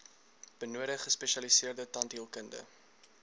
benodig gespesialiseerde tandheelkunde